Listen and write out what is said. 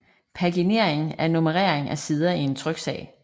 Paginering er nummerering af sider i en tryksag